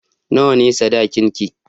Nawa ne sadakinki?